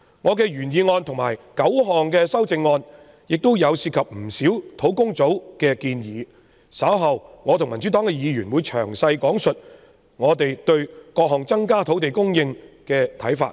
我的原議案和9項修正案均涉及不少專責小組的建議，稍後我和民主黨的議員會詳細講述我們對各項增加土地供應措施的看法。